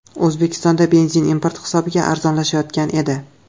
O‘zbekistonda benzin import hisobiga arzonlashayotgan edi.